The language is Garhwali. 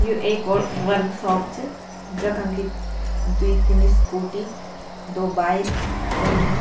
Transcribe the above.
यू एक और वर्कसोप च जखम कि द्वि तीन स्कूटी दो बाईक खड़ा होंया।